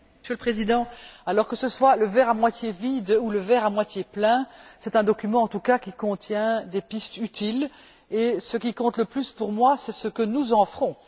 Monsieur le Président, que ce soit le verre à moitié vide ou le verre à moitié plein, c'est un document en tout cas qui contient des pistes utiles, et ce qui compte le plus pour moi, c'est ce que nous en ferons.